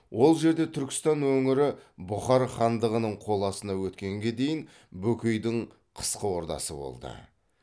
ол жерде түркістан өңірі бұхар хандығының қол астына өткенге дейін бөкейдің қысқы ордасы болды